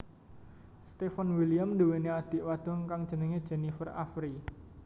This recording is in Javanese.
Steven William nduweni adhik wadon kang jenenge Jennifer Avery